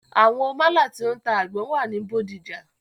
Àwọn málà tí o ń ta àgbọn wà ní Bódìjà.